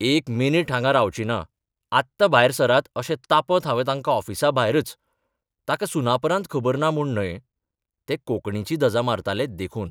एक मिनीट हांगां रावचीना, आत्तां भायर सरात अशें तापत हांवें तांकां ऑफिसाभायरच ताका सुनापरान्त खबर ना म्हूण न्हय तें कोंकणीची धजा मारतालें देखून.